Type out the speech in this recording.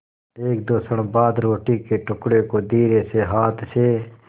एकदो क्षण बाद रोटी के टुकड़े को धीरेसे हाथ से